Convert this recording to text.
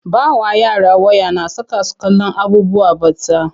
Ba wa yara waya na saka su kallon abubuwan batsa.